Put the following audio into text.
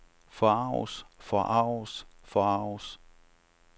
forarges forarges forarges